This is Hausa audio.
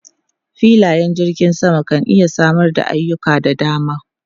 Filayen jirgin sama kan iya samar da ayuka da dama.